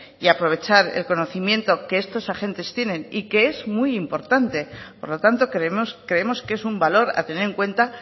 y aprovechar el conocimiento que estos agentes tienen y que es muy importante y por lo tanto creemos que es un valor a tener en cuenta